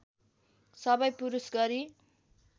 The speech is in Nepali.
सबै पुरूष गरी